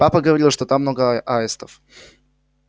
папа говорил что там много аистов